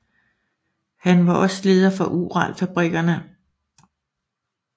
Han var også leder for Uralfabrikkerne